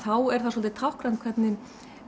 þá er það svolítið táknrænt hvernig